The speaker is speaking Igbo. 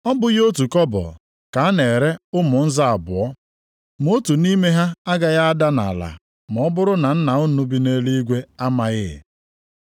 Ọ bụghị otu kobo ka a na-ere ụmụ nza abụọ? Ma otu nʼime ha agaghị ada nʼala ma ọ bụrụ na Nna unu bi nʼeluigwe amaghị.